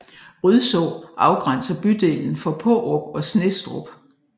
Rydså afgrænser bydelen fra Paarup og Snestrup